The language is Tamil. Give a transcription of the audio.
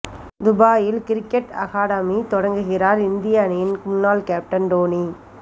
துபாயில் கிரிக்கெட் அகாடமி தொடங்குகிறார் இந்திய அணியின் முன்னாள் கேப்டன் டோனி